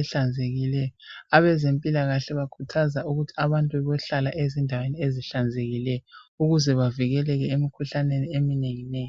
ehlanzekileyo abezempilakahle bakhuthaza ukuthi abantu babohlala endaweni ezihlanzekileyo ukuze bavikeleke emkhuhlaneni eminenginengi.